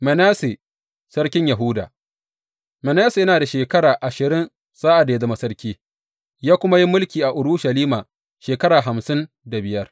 Manasse sarkin Yahuda Manasse yana da shekara ashirin sa’ad da ya zama sarki, ya kuma yi mulki a Urushalima shekara hamsin da biyar.